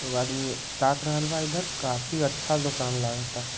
एगो आदमी ताक रहल बा इशर काफी अच्छा दुकान लागत